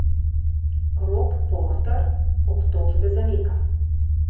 Rob Porter obtožbe zanika.